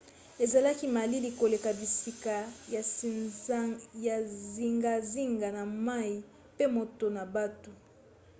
ezalaki malili koleka bisika ya zingazinga na moi pe moto na butu